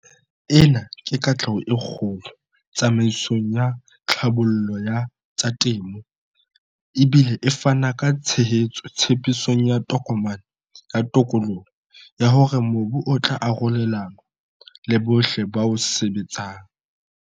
Ena ke katleho e kgolo tsamaisong ya tlhabollo ya tsa temo, e bile e fana ka tshehetso tshepisong ya Tokomane ya Tokoloho ya hore mobu o tla arolelanwa le bohle ba o sebetsang.